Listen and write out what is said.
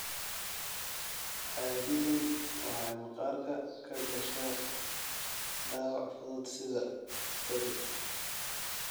Caadiyan waxay maqaarka ka gashaa dhaawac fudud sida kabid.